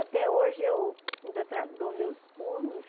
Até hoje eu ainda tra dou meus pulos.